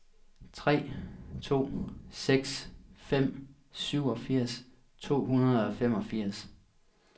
tre to seks fem syvogfirs to hundrede og femogfirs